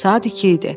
Saat 2 idi.